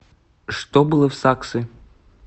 что было в саксы